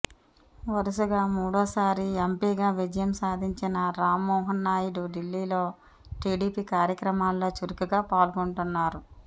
వరుసగా మూడో సారి ఎంపీగా విజయం సాధించిన రామ్మోహన్ నాయుడు ఢిల్లీలో టిడిపి కార్యక్రమాల్లో చురుకుగా పాల్గొంటున్నారు